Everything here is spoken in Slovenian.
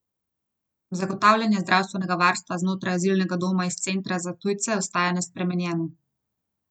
Zagotavljanje zdravstvenega varstva znotraj azilnega doma in Centra za tujce ostaja nespremenjeno.